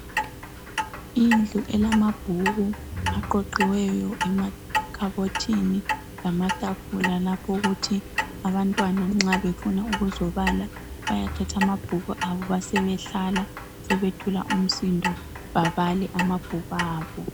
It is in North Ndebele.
Indlu elamabhuku aqoqiweyo emakhabothini lamatafula lapho ukuthi abantwan nxa befuna ukuzobala bathathe amabhuku abe besebehlala besebethula umsindo babale amabhuku abo.